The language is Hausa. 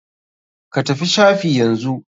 Ka tafi shafi yanzu.